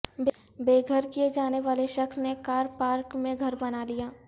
بے گھر کئے جانے والے شخص نے کار پارک میں گھر بنالیا